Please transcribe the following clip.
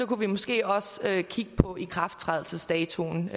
kunne vi måske også kigge på ikrafttrædelsesdatoen